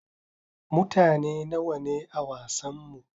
Mutane nawa ne a wasanmu?